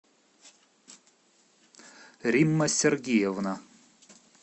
римма сергеевна